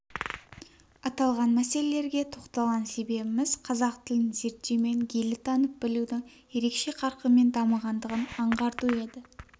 аталған мәселелерге тоқталған себебіміз қазақ тілін зерттеу мен гейлі танып білудің ерекше қарқынмен дамығандығын аңғарту еді